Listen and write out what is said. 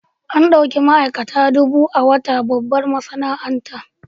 An ɗauki ma'aikata dubu a wata babbar masana'anta.